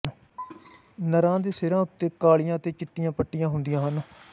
ਨਰਾਂ ਦੇ ਸਿਰਾਂ ਉੱਤੇ ਕਾਲੀਆਂ ਅਤੇ ਚਿੱਟੀਆਂ ਪੱਟੀਆਂ ਹੁੰਦੀਆਂ ਹਨ